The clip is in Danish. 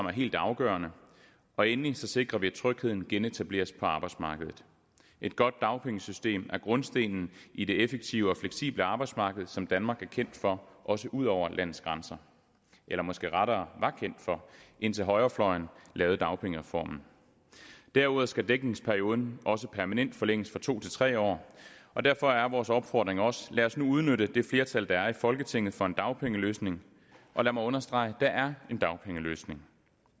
er helt afgørende og endelig sikrer vi at trygheden genetableres på arbejdsmarkedet et godt dagpengesystem er grundstenen i det effektive og fleksible arbejdsmarked som danmark er kendt for også ud over landets grænser eller måske rettere var kendt for indtil højrefløjen lavede dagpengereformen derudover skal dækningsperioden også permanent forlænges fra to til tre år og derfor er vores opfordring også lad os nu udnytte det flertal der er i folketinget for en dagpengeløsning og lad mig understrege der er en dagpengeløsning